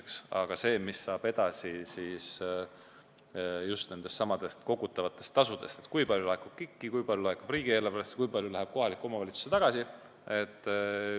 Keerulisem on see, mis saab edasi just nendestsamadest kogutavatest tasudest: kui palju laekub KIK-i, kui palju laekub riigieelarvesse, kui palju läheb kohalikku omavalitsusse tagasi.